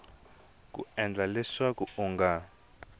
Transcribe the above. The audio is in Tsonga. ku endla leswaku u nga